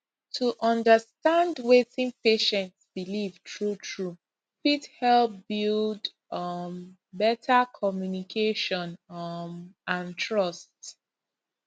to understand wetin patient believe truetrue fit help build um better communication um and trust